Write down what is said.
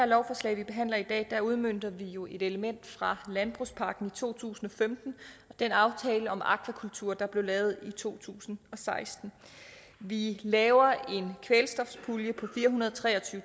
lovforslag vi behandler i dag udmønter vi jo et element fra landbrugspakken to tusind og femten og den aftale om akvakultur der blev lavet i to tusind og seksten vi laver en kvælstofspulje på fire hundrede og tre og tyve